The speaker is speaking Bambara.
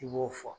I b'o fɔ